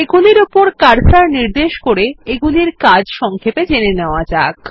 এগুলির উপর কার্সর নির্দেশ করে এগুলির কাজ সংক্ষেপে জেনে নেওয়া যাক